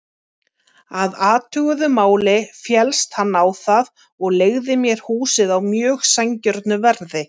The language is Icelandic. Að athuguðu máli féllst hann á það og leigði mér húsið á mjög sanngjörnu verði.